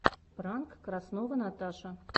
пранк краснова наташа